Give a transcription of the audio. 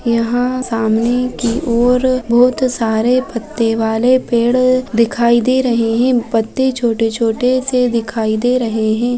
यहाँ सामने की और बहोत सारे पत्ते वाले पेड़ दिखाई दे रहे है पत्ते छोटे-छोटे से दिखाई दे रहे है।